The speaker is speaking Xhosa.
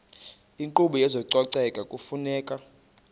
inkqubo yezococeko kufuneka